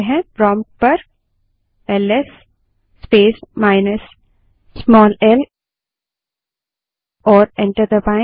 prompt पर L S space minus small l command type करें और एंटर दबायें